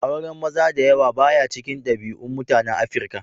Auren maza da yawa ba ya cikin dabi'un mutanen Afirka.